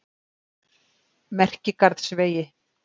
Merkigarðsvegi